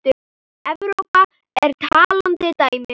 Evrópa er talandi dæmi.